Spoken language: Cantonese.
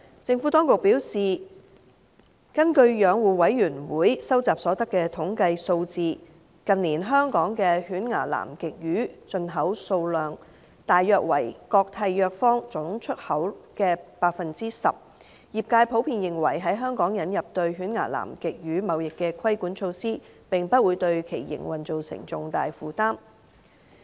政府當局表示，根據養護委員會蒐集所得的統計數字，近年香港的犬牙南極魚進口量大約為各締約方總出口量的 10%， 業界普遍認為，在香港引入對犬牙南極魚貿易的規管措施，並不會對其營運造成重大負擔。